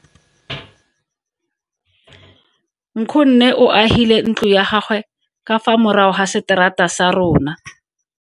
Nkgonne o agile ntlo ya gagwe ka fa morago ga seterata sa rona.